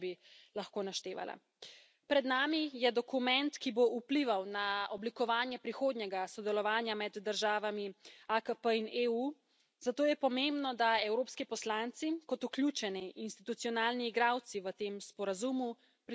Pred nami je dokument, ki bo vplival na oblikovanje prihodnjega sodelovanja med državami AKP in EU, zato je pomembno, da evropski poslanci kot vključeni institucionalni igralci v tem sporazumu prisostvujemo pri njegovem nastanku.